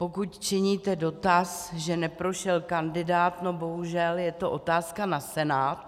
Pokud činíte dotaz, že neprošel kandidát, no bohužel je to otázka na Senát.